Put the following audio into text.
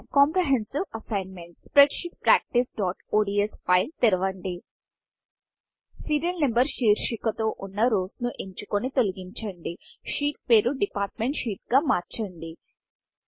comprehensive ASSIGNMENTకాంప్రెహెన్సివ్ assignment spreadsheet practiceఒడిఎస్ fileస్ప్రెడ్షీట్ ప్ర్యాక్టీస్ఒడిఎస్ ఫైల్ తెరవండి సీరియల్ నంబర్ సీరియల్ నంబర్శీర్షిక తో వున్న rowరో ను ఎంచుకొని తొలగించండి sheetషీట్ పేరు డిపార్ట్మెంట్ Sheetడిపార్ట్మెంట్ షీట్ గా మార్చండి